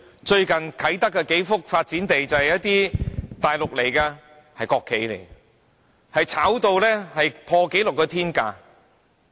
最近啟德發展區數幅發展地，便由一些大陸到港的國企購得，並炒賣至破紀錄的天價。